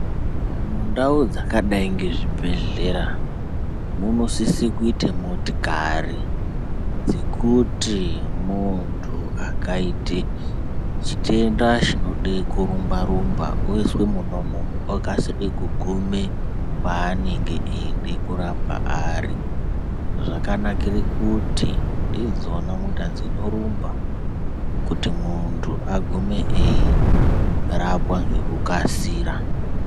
Mundau dzakadai ngezvibhedhlera munosise kuite motikari dzekuti muntu akaite chitenda chinode kurumba rumba oiswe mona umomo okasike kugume kwaanenge eide kurapwa ari, zvakanakire kuti ndidzona mota dzinorumba kuti muntu agume eyirapwa ngekukasira.